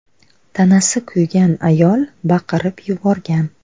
Tanasi kuygan ayol baqirib yuborgan.